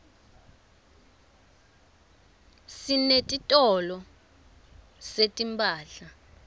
sinetitolo setimphahla